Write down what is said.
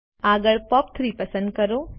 આગળ પોપ3 પસંદ કરો